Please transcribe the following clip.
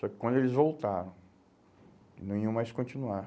Só que quando eles voltaram, não iam mais continuar.